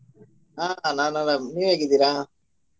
ಆ ನಾನ್ ಆರಾಮ್ ನೀವ್ ಹೇಗಿದ್ದೀರಾ?